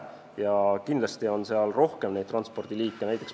Ja kindlasti on seal rohkem neid transpordiliike.